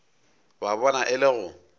ba bona e le go